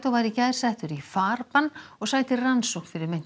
var í gær settur í farbann og sætir rannsókn fyrir meint